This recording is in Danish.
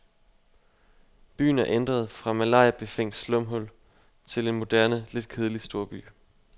Byen er ændret fra malariabefængt slumhul til en moderne lidt kedelig storby.